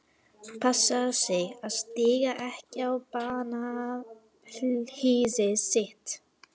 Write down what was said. Passaðu þig að stíga ekki á bananahýðið þitt.